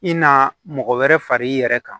I na mɔgɔ wɛrɛ far'i yɛrɛ kan